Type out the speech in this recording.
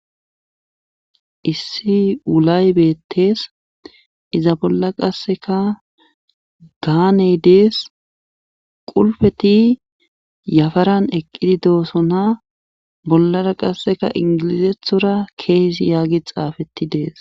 Issi wulay beettees izi bolla qasseka gaaney dees qulfeti yafaran eqqidi doosona bollara qasseka inggilzethora keezi yaagi xaafettuides.